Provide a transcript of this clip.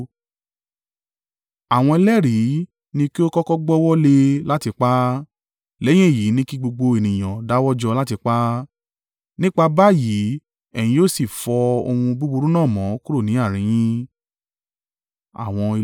Àwọn ẹlẹ́rìí ni kí ó kọ́kọ́ gbọ́wọ́ lé e láti pa á. Lẹ́yìn èyí ni kí gbogbo ènìyàn dáwọ́jọ láti pa á. Nípa báyìí, ẹ̀yin yóò sì fọ ohun búburú náà mọ́ kúrò ní àárín yín.